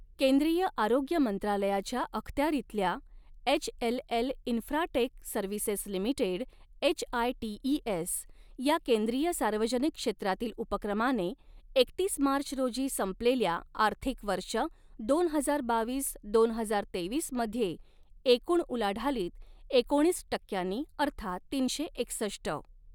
केंद्रीय आरोग्य मंत्रालयाच्या अखत्यारीतल्या, HLL infra tech services limited HITES, या केंद्रीय सार्वजनिक क्षेत्रातील उपक्रमाने, एकतीस मार्च रोजी संपलेल्या आर्थिक वर्ष दोन हजार बावीस दोन हजार तेवीस मध्ये, एकूण उलाढालीत एकोणीस टक्क्यांनी अर्थात तीनशे एकसष्ट.